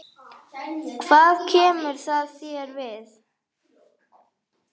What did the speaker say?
Hvað kemur það þér við?